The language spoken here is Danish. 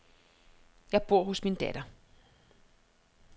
Jeg bor hos min datter.